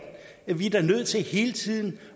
vi er da nødt til hele tiden